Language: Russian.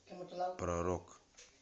про рок